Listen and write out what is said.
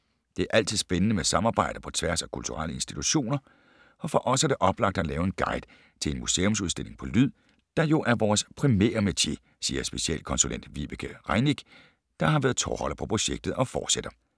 - Det er altid spændende med samarbejder på tværs af kulturelle institutioner, og for os er det oplagt at lave en guide til en museumsudstilling på lyd, der jo er vores primære metier, siger specialkonsulent Vibeke Rieneck, der har været tovholder på projektet og fortsætter: